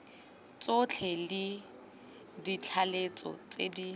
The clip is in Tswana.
tsotlhe le ditlaleletso tse di